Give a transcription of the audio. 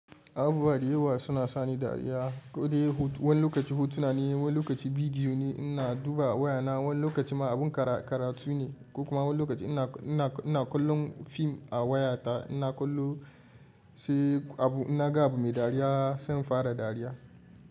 Abubuwa da yawa suna sani dariya, ko dai wani lokaci hotuna ne, wani lokaci bidiyo ne in na duba wayana, wani lokaci ma abun karatu ne, ko kuma wani lokaci ina kallon fim a wayata ina kallo sai abu, in na ga abu me dariya sai in fara dariya.